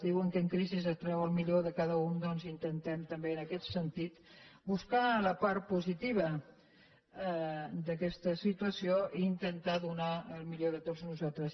diuen que en crisi es treu el millor de cada un doncs intentem també en aquest sentit buscar la part positiva d’aquesta situació i intentar donar el millor de tots nosaltres